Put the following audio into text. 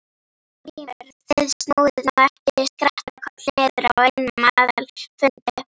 GRÍMUR: Þið snúið nú ekki skrattakoll niður á einum aðalfundi.